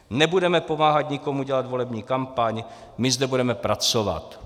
Nebudeme pomáhat nikomu dělat volební kampaň, my zde budeme pracovat.